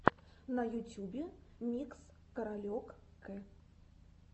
на ютюбе микс каролек к